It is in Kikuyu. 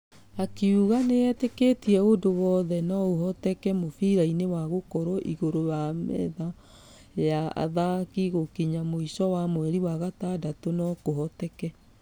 Akĩuga nĩiteketie ũndũ wothe nũohotĩke mũbira-inĩ na gũkorwo igũrũ wa metha ya athaki gũkinya mũisho wa mweri wa gatandatũ nũkũhotĩke.